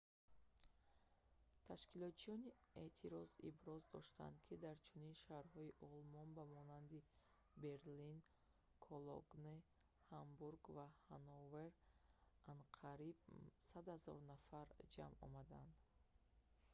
ташкилчиёни эътироз иброз доштанд ки дар чунин шаҳрҳои олмон ба монанди берлин кологне ҳамбург ва ҳанновер анқариб 100 000 нафар ҷамъ омадаанд